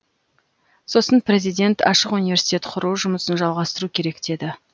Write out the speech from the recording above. сосын президент ашық университет құру жұмысын жалғастыру керек деді